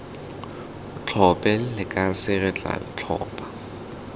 tlhophe lekase re tla tlhopha